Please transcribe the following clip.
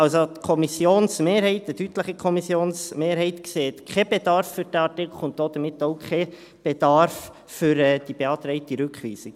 Also, die Kommissionsmehrheit, eine deutliche Kommissionsmehrheit, sieht keinen Bedarf für diesen Artikel und damit auch keinen Bedarf für die beantragte Rückweisung.